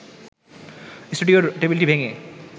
স্টুডিওর টেবিলটি ভেঙে